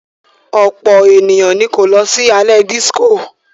Ọ̀pọ̀ ènìyàn ni kò lọ sí alẹ́ dísíkò.